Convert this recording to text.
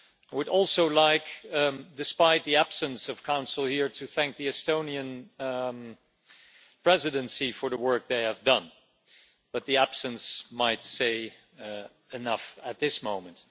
I would also like, despite the absence of the Council here, to thank the Estonian Presidency for the work they have done, but their absence might say enough at this moment.